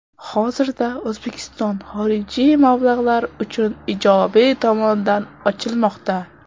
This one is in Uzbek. Hozirda O‘zbekiston xorijiy mablag‘lar uchun ijobiy tomondan ochilmoqda.